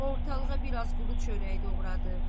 Ortalığa biraz quru çörək doğradı.